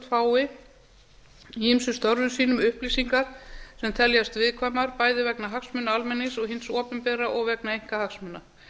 fái í ýmsum störfum sínum upplýsingar sem teljast viðkvæmar bæði vegna hagsmuna almennings og hins opinbera og vegna einkahagsmuna